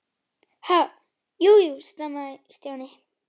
Ha- jú, jú stamaði Stjáni.